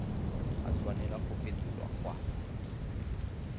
a tshwanela go fetolwa kwa